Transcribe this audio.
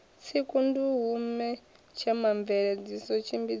tsiku nduhune themamveledziso tshimbidzo na